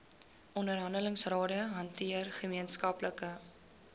onderhandelingsrade hanteer gemeenskaplike